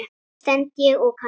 stend ég og kanna.